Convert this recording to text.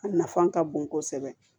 A nafan ka bon kosɛbɛ